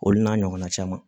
Olu n'a ɲɔgɔnna caman